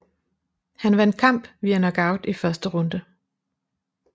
Han vandt kamp via knockout i første runde